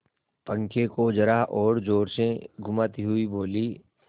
पंखे को जरा और जोर से घुमाती हुई बोली